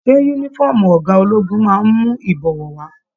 Ṣe yúnífọ̀ọ́mù ọgá ológun máa n mú ibọwọ wa?